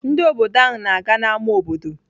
Ndị obodo ahụ na-aga n'ámá obodo.